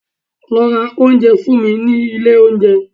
Lọ ra oúnjẹ fún mi ní ilé oúnjẹ